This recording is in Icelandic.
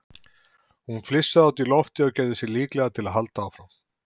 Hún flissaði út í loftið og gerði sig líklega til að halda áfram.